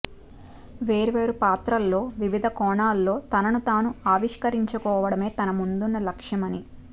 వేర్వేరు పాత్రల్లో వివిధ కోణాల్లో తనను తాను ఆవిష్కరించుకోవడమే తన ముందున్న లక్ష్యమని